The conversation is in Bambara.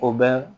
O bɛ